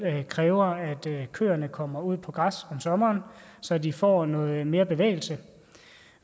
kræver at køerne kommer ud på græs om sommeren så de får noget mere bevægelse